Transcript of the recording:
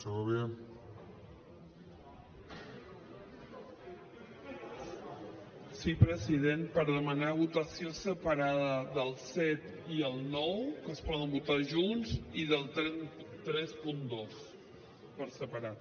sí president per demanar votació separada del set i el nou que es poden votar junts i del trenta dos per separat